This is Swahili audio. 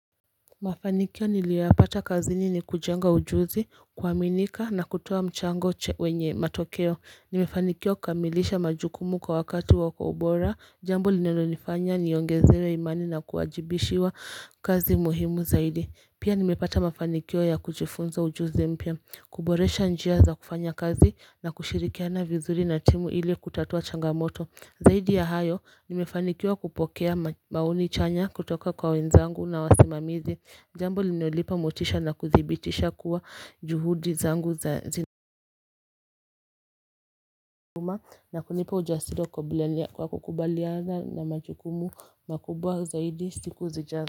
Mafanikio nilioyapata kazini ni kujenga ujuzi kuaminika na kutoa mchango wenye matokeo Nimefanikiwa kukamilisha majukumu kwa wakati wa kwa ubora jambo linalo nifanya niongezewe imani na kuajibishiwa kazi muhimu zaidi Pia nimepata mafanikio ya kujifunza ujuzi mpya kuboresha njia za kufanya kazi na kushirikiana vizuri na timu ili kutatua changamoto zaidi ya hayo nimefanikiwa kupokea maoni chanya kutoka kwa wenzangu na wasimamizi jambo liniolipa motisha na kuthibitisha kuwa juhudi zangu za zina na kunipa ujasiri wa kukabiliana kwa kukubaliana na majukumu makubwa zaidi siku zijazo.